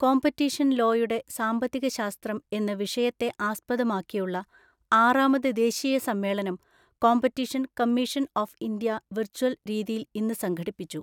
competition ലോയുടെ സാമ്പത്തികശാസ്ത്രം എന്ന വിഷയത്തെ ആസ്പദമാക്കിയുള്ള ആറാമത് ദേശീയ സമ്മേളനം competition commission of India virtual രീതിയിൽ ഇന്ന് സംഘടിപ്പിച്ചു